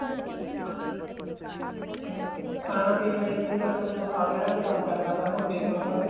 ਹਾਂ ਖਾਣਾ ਪੀਣਾ ਸੀ ਬੱਸ ਉਹ ਤੇ ਉਹ ਖਾਹੋ ਕਿਹੜਾ ਕੋਈ ਕੰਮ ਕਰਨਾ ਤਾਂ ਮੋਟੇ ਹੀ ਹੋਣਾ ਤਾਂ ਫ਼ੇਰ